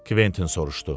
Kventin soruşdu.